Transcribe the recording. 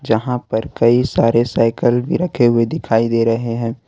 यहां पर कई सारे साइकिल भी रखे हुए दिखाई दे रहे हैं।